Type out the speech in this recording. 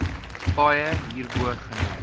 paaie hierbo genoem